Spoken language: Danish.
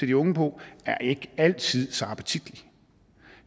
de unge på er ikke altid så appetitlig